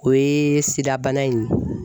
O ye SIDA bana in